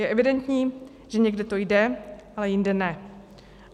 Je evidentní, že někde to jde, ale jinde ne.